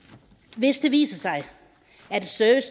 hvis det viser sig at